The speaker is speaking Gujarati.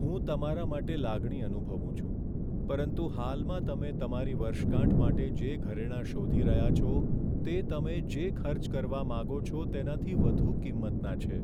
હું તમારા માટે લાગણી અનુભવું છું, પરંતુ હાલમાં તમે તમારી વર્ષગાંઠ માટે જે ઘરેણાં શોધી રહ્યા છો, તે તમે જે ખર્ચ કરવા માંગો છો, તેનાથી વધુ કિંમતનાં છે.